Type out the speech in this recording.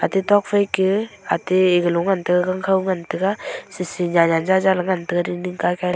gatok phai ke ate eg lung ngan tega gangkho ngan tega sisi nyem nyen jaja ngan tega dingding kaikai.